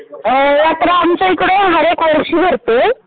हो यात्रा आमच्या हीकडे हर एक वर्षी भरते.